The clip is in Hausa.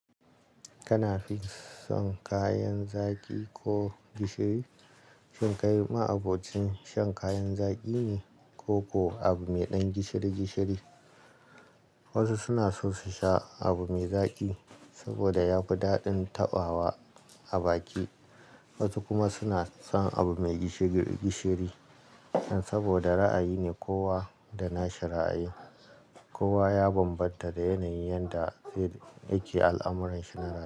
Kana fin son kayan zaki ko gishiri? Shin kai ma abocin shan kayan zaƙi ne ko ko abu mai ɗan gishiri gishiri? Wasu suna so su sha abu mai zaƙi saboda ya fi daɗin taɓawa a baki, wasu kuma suna son abu mai gishiri gishiri saboda ra'ayi ne kowa da na shi ra'ayin. Kowa ya bambanta da yanayin yanda zai. Yake al'amuranshi na.